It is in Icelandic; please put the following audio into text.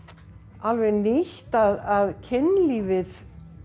alveg nýtt að kynlífið